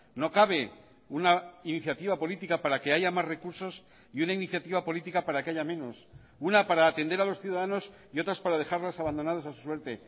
no cabe una iniciativa política para que haya más recursos y una iniciativa política para que haya menos una para atender a los ciudadanos y otras para dejarlos abandonados a su suerte